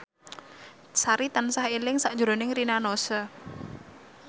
Sari tansah eling sakjroning Rina Nose